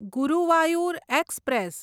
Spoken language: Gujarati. ગુરુવાયુર એક્સપ્રેસ